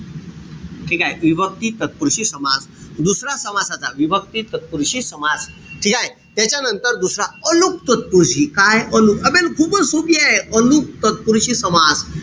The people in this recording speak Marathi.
ठीकेय? विभक्ती तत्पुरुषी समास. दुसरा समासाचा विभक्ती तत्पुरुषी समास . ठीकेय? त्याच्यानंतर दुसरा अलुक तत्पुरुषी काय? अलुक. आबे खूपच सोपीए. अलुक तत्पुरुषी समास.